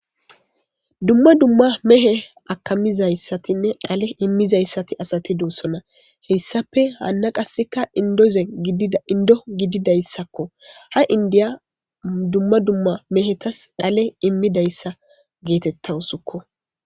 Dumma dumma mehe akamizayssatinne dhale immizayssati asati doossona heyssape haanna qasseka indoze indo gididayssakko ha indiya dumma dumma mehetas dhale immidayssa geetetta usukko.